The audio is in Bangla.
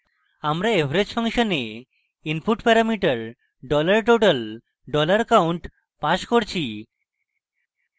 আমরা average ফাংশনে input parameter $total $count pass করছি